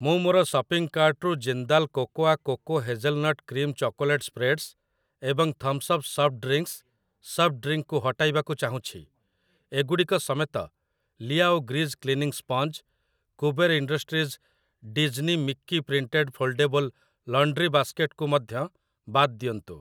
ମୁଁ ମୋର ସପିଂ କାର୍ଟ୍‌ରୁ Jindal cocoa coco hazelnut cream chocolate spreads ଏବଂ thums up soft drinks, soft drink କୁ ହଟାଇବାକୁ ଚାହୁଁଛି । ଏଗୁଡ଼ିକ ସମେତ, Liao grease cleaning sponge, Kuber industries Disney Mickey printed foldable laundry basket କୁ ମଧ୍ୟ ବାଦ୍ ଦିଅନ୍ତୁ ।